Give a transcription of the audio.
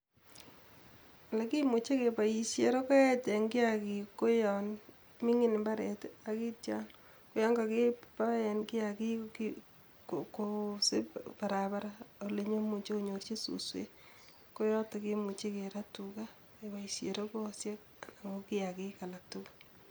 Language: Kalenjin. Olekimuje kepoishen rokoet en kiakikik ko yon mingin imbaret akitio yon kakibaen kiakik kosip csbarabaracs olekimuje konyorji suswek koyoton yemuje kerat tukaa keboishen rokoyoshek anan ko kiakik alak tukul